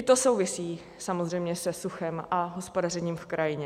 I to souvisí samozřejmě se suchem a hospodařením v krajině.